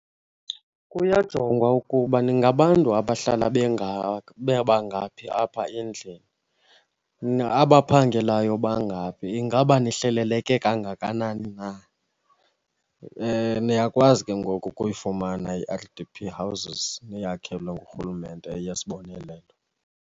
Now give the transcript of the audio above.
Kuyajongwa ukuba ningabantu abahlala bebangaphi apha endlini, abaphangelayo bangaphi. Ingaba nihleleleke kangakanani na? Niyakwazi ke ngoku ukuyifumana i-R_D_P houses niyakhelwe ngurhulumente, eyesibonelelo.